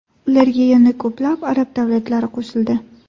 Ularga yana ko‘plab arab davlatlari qo‘shildi.